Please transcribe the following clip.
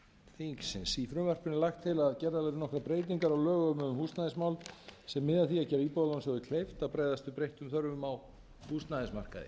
húsnæðismál sem miða að því að gera íbúðalánasjóði kleift að bregðast við breyttum þörfum á húsnæðismarkaði